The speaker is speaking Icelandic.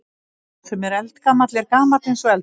Sá sem er eldgamall er gamall eins og eldurinn.